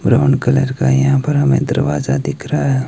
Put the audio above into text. Brown colour का यहां पर हमें दरवाजा दिख रहा है।